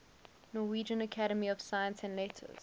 norwegian academy of science and letters